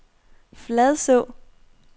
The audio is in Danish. Fladså